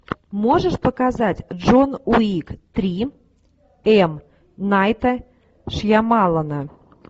можешь показать джон уик три м найта шьямалана